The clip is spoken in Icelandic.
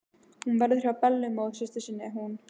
Hún verður hjá Bellu móðursystur sinni, hún.